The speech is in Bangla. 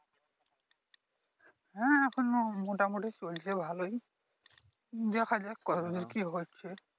হ্যাঁ এখন মোটামুটি চলছে ভালোই দেখা যাক কতদূর কি হচ্ছে।